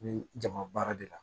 Ni jama baara de la